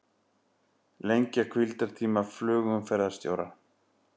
Lengja hvíldartíma flugumferðarstjóra